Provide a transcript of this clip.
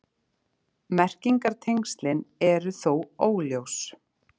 Merkingartengslin eru þó óljós.